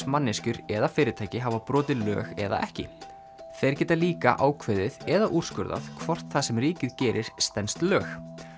manneskjur eða fyrirtæki hafa brotið lög eða ekki þeir geta líka ákveðið eða úrskurðað hvort það sem ríkið gerir stenst lög